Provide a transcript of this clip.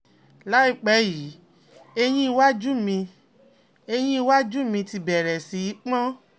láìpẹ́ yìí, eyín iwájú mi eyín iwájú mi ti bẹ̀rẹ̀ sí i pon